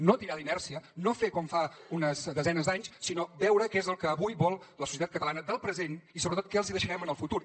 no tirar d’inèrcia no fer com fa unes desenes d’anys sinó veure què és el que avui vol la societat catalana del present i sobretot què els hi deixarem en el futur